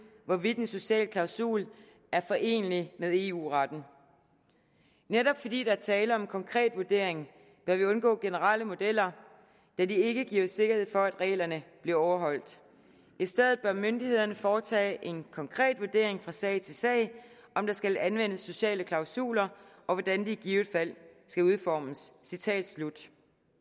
hvorvidt en social klausul er forenelig med eu retten netop fordi der er tale om en konkret vurdering bør vi undgå generelle modeller da de ikke giver sikkerhed for at reglerne bliver overholdt i stedet bør myndighederne foretage en konkret vurdering fra sag til sag af om der skal anvendes sociale klausuler og hvordan de i givet fald skal udformes citat slut